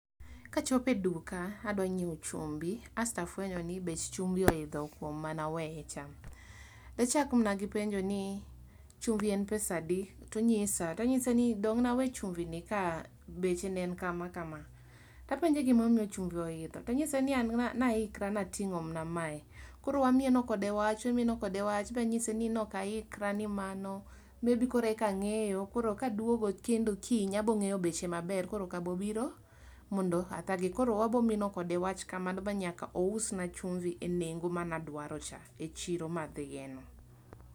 Ka achopo e duka adwa ngiewo chumbi kasto afwenyo ni bech oidho kama ne aweye cha da chak mana penjo ni chumbi en pesa adi?to onyisa to anyise dong ne a we chumbi ni ka beche ne en kama kama to apenje gima omiyo chumbi o idho to anyise ni an ne a ikra atingo mana ma e koro wa mieno kode wacha, wa mieno kode wach ba anyise ne ok a ikra ne mano maybe koro eka angeyo koro ka dwogo kendo kiny abiro ngeyo beche maber koro ok bi biro mondo a thage koro wabo mino kode wach kamano nyaka o usna chumbi e nengo mane adwaro cha e chiro mane a dhie no.